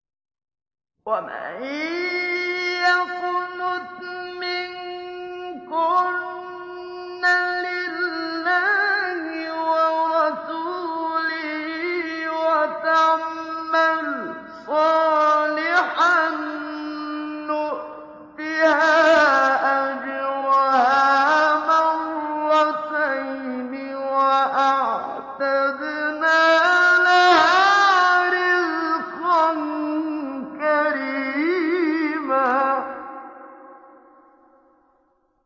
۞ وَمَن يَقْنُتْ مِنكُنَّ لِلَّهِ وَرَسُولِهِ وَتَعْمَلْ صَالِحًا نُّؤْتِهَا أَجْرَهَا مَرَّتَيْنِ وَأَعْتَدْنَا لَهَا رِزْقًا كَرِيمًا